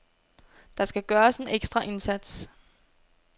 Der skal gøres en ekstra indsats.